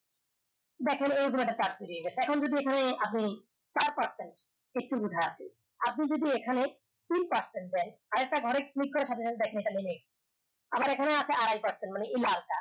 দেখা গেলো charge ফুরিয়ে গেছে এখন যদি এখানে আপনি চার percent একটু উঠে আছে আপনি যদি এখানে তিন percent দেন আরেকটা ঘরে click করার সাথে সাথে দেখেন আমার এখানে আছে আড়াই percent মানে এই লাল টা